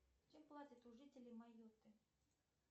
чем платят у жителей майотты